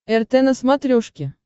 рт на смотрешке